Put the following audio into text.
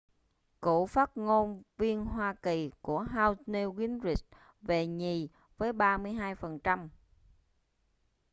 cựu phát ngôn viên hoa kỳ của house newt gingrich về nhì với 32 phần trăm